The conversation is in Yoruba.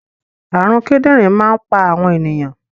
Àrùn kidinrin máa ń pa àwọn ènìyàn